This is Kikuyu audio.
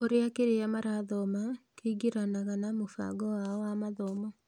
Ũria kĩrĩa marathoma kĩĩngĩranaga ma mũbango wao wa mathomo